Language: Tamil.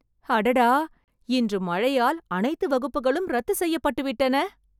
அடடா! இன்று மழையால் அனைத்து வகுப்புகளும் ரத்துச் செய்யப்பட்டுவிட்டன